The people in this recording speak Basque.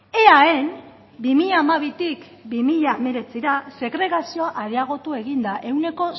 eaen bi mila hamabitik bi mila hemeretzira segregazioa areagotu egin da ehuneko